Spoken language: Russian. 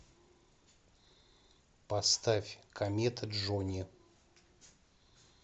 поставь комета джони